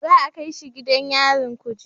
Za a kai shi gidan yarin kuje